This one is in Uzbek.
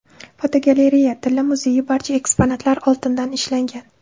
Fotogalereya: Tilla muzeyi barcha eksponatlar oltindan ishlangan.